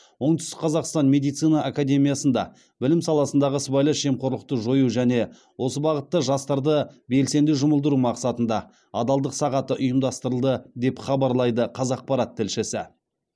оңтүстік қазақстан медицина академиясында білім саласындағы сыбайлас жемқорлықты жою және осы бағытта жастарды белсенді жұмылдыру мақсатында адалдық сағаты ұйымдастырылды деп хабарлайды қазақпарат тілшісі